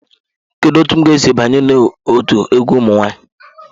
Kedu otu m ga-esi banye n'otu egwu ụmụ nwanyị?